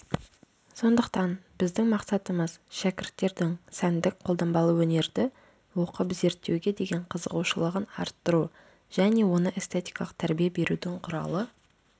сондықтан біздің мақсатымыз шәкірттердің сәндік-қолданбалы өнерді оқып зертеуге деген қызығушылығын артыру және оны эстетикалық тәрбие берудің құралы